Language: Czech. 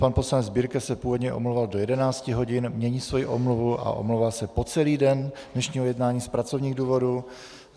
Pan poslanec Birke se původně omlouval do 11 hodin, mění svoji omluvu a omlouvá se po celý den dnešního jednání z pracovních důvodů.